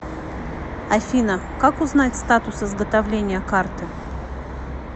афина как узнать статус изготовления карты